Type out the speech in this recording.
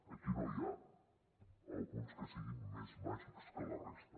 aquí no hi ha alguns que siguin més màgics que la resta